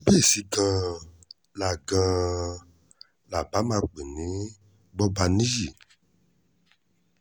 bíésì gan-an là gan-an là bá máa pè ní gbọ̀bániyí